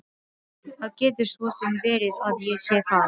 Það getur svo sem verið að ég sé það.